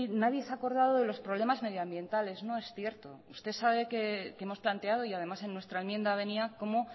nadie se ha acordado de los problemas medioambientales no es cierto usted sabe que hemos planteado y además en nuestra enmienda venía cómo